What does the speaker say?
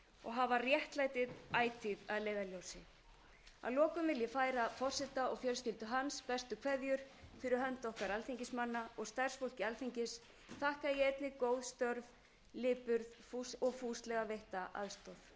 og hafa réttlætið ætíð að leiðarljósi að lokum vil ég færa forseta og fjölskyldu hans bestu kveðjur fyrir hönd okkar alþingismanna og starfsfólki alþingis þakka ég einnig góð störf lipurð og fúslega veitta aðstoð bið ég þingmenn að